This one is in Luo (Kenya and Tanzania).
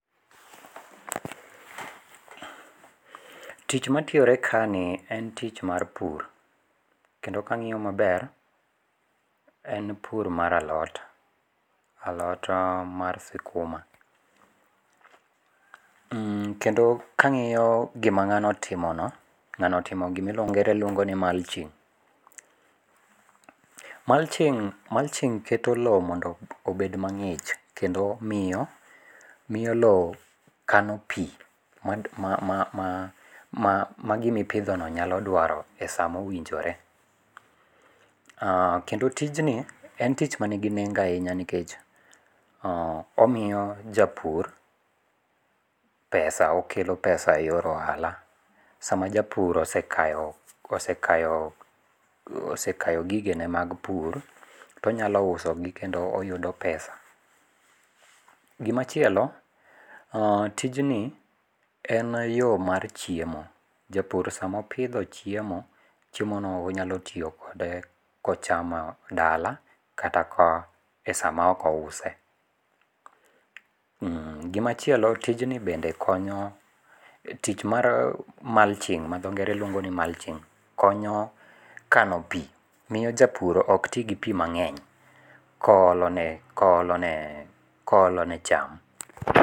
Tich matiyore kani en tich mar pur, kendo kang'iyo maber en pur mar alot, alot mar sikuma, kendo kang'iyo gima ng'ano otimono ng'ano otimo gima dhongere luongo ni mulching, mulching mulching keto lowo mondo obed mangi'ch kendo miyo, omiyo lowo kano pi magimipithono nyalo dwaro e sama owinjore, kendo tijni en tich manigi nengo ahinya nikech omiyo japur pesa okelo pesa e yor ohala, sama japur osekayo osekayo gigene mag pur to onyalo usogi kendo kelo pesa. Gimachielo tijni en yo mar chiemo, japur sama opitho chiemo, chiemono onyalo tiyo kode kochamo dala kata ka e sama oko use, gimachielo tijni bende konyo tich mar mulching ma dho ngere luongo ni mulching konyo kano pi miyo japur ok ti gi pi mang'eny koholone koholone cham